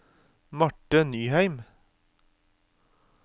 Marthe Nyheim